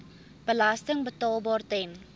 belasting betaalbaar ten